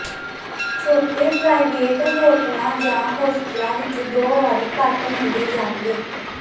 ਛੋਟੇ ਪ੍ਰਾਈਵੇਟ ਹੋਟਲਾਂ ਜਾਂ ਹੋਸਟਲਾਂ ਵਿੱਚ ਦੋ ਵਾਰੀ ਘੱਟ ਮੰਗੇ ਜਾਣਗੇ